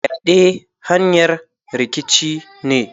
Fyade hanyar rikici ne.